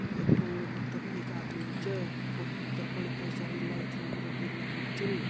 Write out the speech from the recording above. ये फुंगडु भीतर एक आदमी भी च वख भीतर पर्ण कई साड़ी लाइट रंग बिरंगी लगीं छिन।